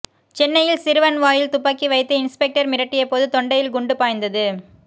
சென்னையில் சிறுவன் வாயில் துப்பாக்கி வைத்து இன்ஸ்பெக்டர் மிரட்டியபோது தொண்டையில் குண்டு பாய்ந்தது